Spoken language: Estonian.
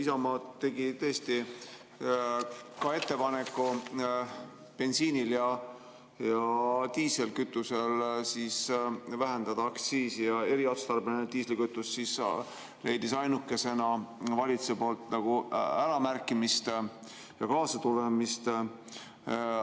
Isamaa tegi tõesti ka ettepaneku bensiinil ja diislikütusel aktsiisi vähendada, kuid eriotstarbeline diislikütus leidis ainukesena valitsuse poolt nagu äramärkimist ja kaasatulemist.